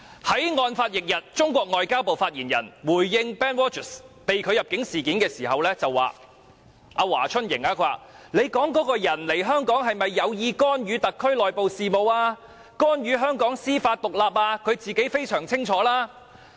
在案發翌日，中國外交部發言人華春瑩回應 BenedictROGERS 被拒入境事件時對記者說："你說的這個人赴港是否有意干預特區內部事務、干預香港司法獨立，他自己非常清楚。